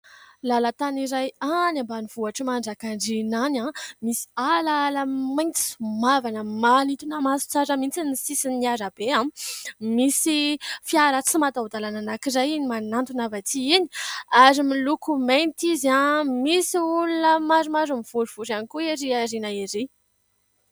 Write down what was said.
Lalatany iray any ambanivohitra Manjakandriana any misy ala maitso mavana manitona maso tsara mihitsy ny sisin'arabe. Misy fiara tsy mataho-dalàna anankiray iny manantona avy atỳ iny ary miloko mainty izy. Misy olona maromaro mivorivory ihany koa erỳ aoriana erỳ.